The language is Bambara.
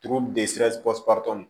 Turu